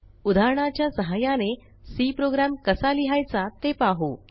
उदाहरणाच्या सहाय्याने C program कसा लिहायचा ते पाहू